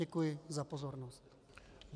Děkuji za pozornost.